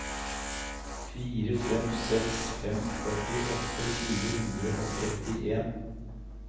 fire fem seks fem førtiåtte fire hundre og trettien